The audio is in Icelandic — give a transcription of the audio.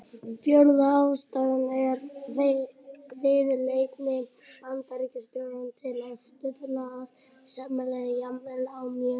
Fjórða ástæðan er viðleitni Bandaríkjastjórnar til að stuðla að sæmilegu jafnvægi á mjög óstöðugu svæði.